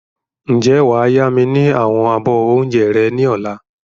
Ǹjẹ́ wàá yá mi ni àwọn abọ́ oúnjẹ rẹ ni ọ̀la?